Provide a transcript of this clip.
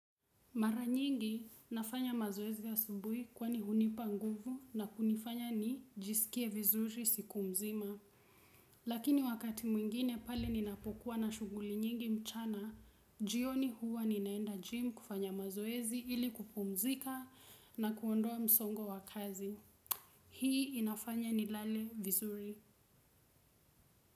Mara nyingi nafanya mazoezi asubuhi kwani hunipa nguvu na kunifanya nijisikie vizuri siku mzima. Lakini wakati mwingine pale ninapokuwa na shughuli nyingi mchana, jioni huwa ninaenda gym kufanya mazoezi ili kupumzika na kuondoa msongo wa kazi. Hii inafanya nilale vizuri.